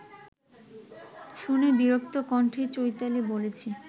শুনে বিরক্ত কণ্ঠে চৈতালি বলেছে